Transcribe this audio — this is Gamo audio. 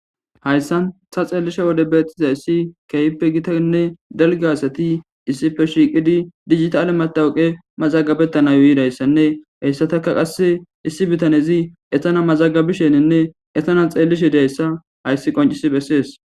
hayssan ta xeellishe wode beettiza issi kehippe gitainne dalgaasati issife shiiqidi dijita7alematawuqe mazagabettanayo yidayssanne heyssataka qasse issi bitanezi ehana mazagabisheninne etana xeellishe dayssa hayssi qoncis bessees